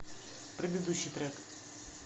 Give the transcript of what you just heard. предыдущий трек